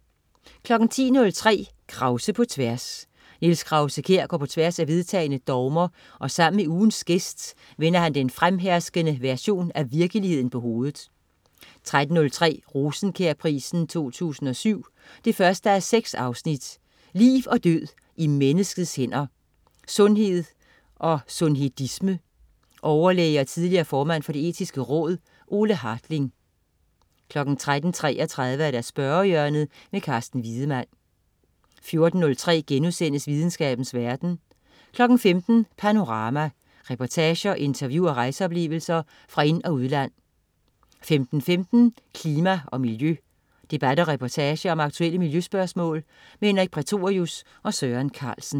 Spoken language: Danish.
10.03 Krause på tværs. Niels Krause-Kjær går på tværs af vedtagne dogmer og sammen med ugens gæst vender han den fremherskende version af virkeligheden på hovedet 13.03 Rosenkjærprisen 2007 1:6. Liv og død i menneskets hænder. Sundhed og sundhedisme. Overlæge og tidligere formand for Det Etiske Råd, Ole Hartling 13.33 Spørgehjørnet. Carsten Wiedemann 14.03 Videnskabens verden* 15.00 Panorama. Reportager, interview og rejseoplevelser fra ind- og udland 15.15 Klima og miljø. Debat og reportage om aktuelle miljøspørgsmål. Henrik Prætorius og Søren Carlsen